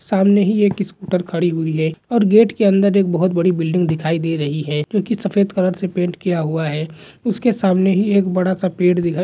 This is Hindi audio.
सामने ही एक स्कूटर खड़ी हुई है। और गेट के अंदर एक बहुत बड़ी बिल्डिंग दिखाई दे रही है। जो की सफ़ेद कलर से पेंट किया हुआ है। इसके सामने ही एक बड़ा सा पेड़ दिखा--